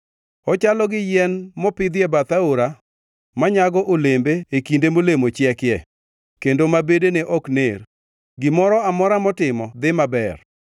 Ochalo gi yien mopidhi e bath aora, manyago olembe e kinde molemo chieke, kendo ma bedene ok ner. Gimoro amora motimo dhi maber.